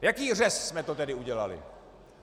Jaký řez jsme to tedy udělali?